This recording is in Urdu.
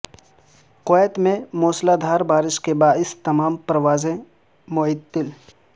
کویت میں موسلادھار بارش کے باعث تمام پروازیں معطل